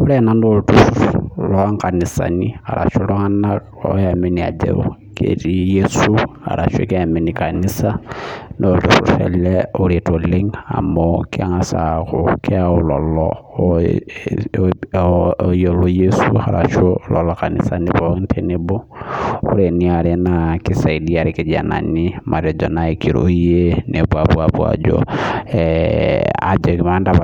Ore ena naa olturhur loo nkanisani ashu iltunganak oyamini ajo ketii Yesu arashu keamini kanisa naa olturhur ele oret oleng amu pookin engas aaku keyau lelo ooyiolo Yesu arashu loonkanisani pookin tenebo ore eniare naa kisaidia ilkijanani matejo nai kirorie nepuo apuo ajo